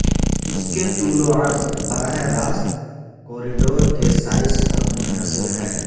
اس کے طول و عرض براہ راست کوریڈور کے سائز پر منحصر ہے